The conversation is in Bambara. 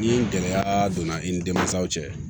Ni gɛlɛya donna i ni denmansaw cɛ